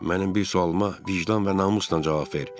Mənim bir sualıma vicdan və namusla cavab ver.